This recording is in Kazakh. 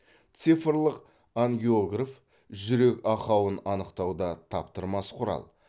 цифрлық ангиограф жүрек ақауын анықтауда таптырмас құрал